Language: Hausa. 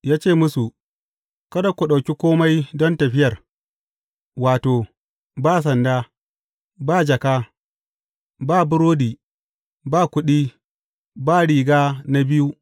Ya ce musu, Kada ku ɗauki kome don tafiyar, wato, ba sanda, ba jaka, ba burodi, ba kuɗi, ba riga na biyu.